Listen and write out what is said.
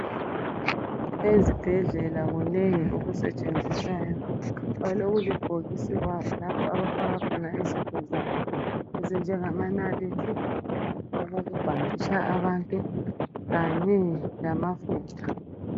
Ezibhedlela kunengi okusetshenziswayo balokulibhokisi kwabo lapho abafika khona izinto zabo ezinjengamanaliti, okokubhanditsha abantu kanye lamafutha.